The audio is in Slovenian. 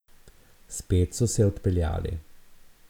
Spet so se odpeljali.